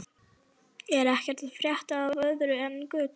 Er ekkert að frétta af öðru en götum?